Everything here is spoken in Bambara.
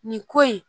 Nin ko in